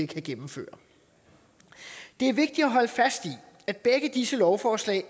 kan gennemføre det er vigtigt at holde fast i at begge disse lovforslag ikke